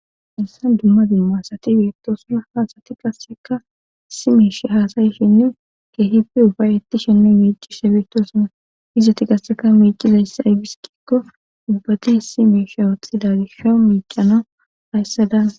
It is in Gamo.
Haysan dummadin maasati beettosuna haasati qasseka si meesh haasayishinnin keehipi ufay etti shenne miicishshe beettosuna izati qasseka miicizayss ay biskikko ubbati si meisha woothxidagi sho miicana hayssa daa